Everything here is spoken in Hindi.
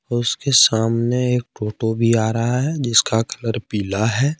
उसके सामने एक ओटो भी आ रहा है जिसका कलर पीला है।